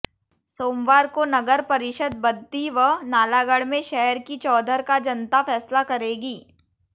सोमवार को नगर परिषद बद्दी व नालागढ़ में शहर की चौधर का जनता फैसला करेगी